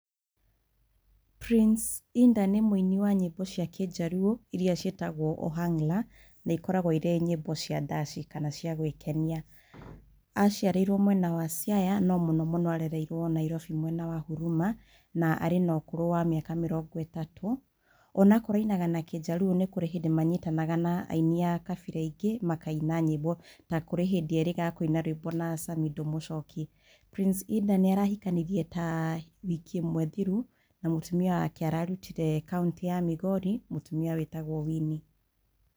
Prince Indah nĩ mũini wa nyĩmbo cia kĩnjaruo iria ciĩtagwo Ohangla na ikoragwo irĩ nyĩmbo cia ndaci kana cia gwĩkenia aciariirwo mwena wa Siaya no mũno mũno arereirwo Nairobi mwena wa Huruma na arĩ na ũkũrũ wa mĩaka mĩrongo ĩtatũ. Onakorwo ainaga na kĩnjaruo nĩ kũrĩ hĩndĩ manyitanaga na aini a kabira ingĩ makaina nyĩmbo ta kwĩ hĩndĩ merĩga kũina nyĩmbo na Samidoh Mũchoki. Prince Indah nĩarahikanirie ta wiki ĩmwe thiru na mũtũmia wake ararutire kauntĩinĩ ya Migori mũtumia wĩtagwo Winnie.